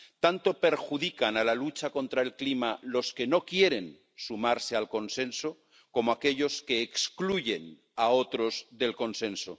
Tanto perjudican a la lucha contra el cambio climático los que no quieren sumarse al consenso como aquellos que excluyen a otros del consenso.